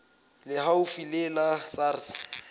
le haufi le la sars